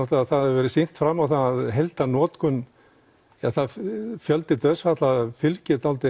það hefur verið sýnt fram á að heildarnotkun eða fjöldi dauðsfalla fylgir dálítið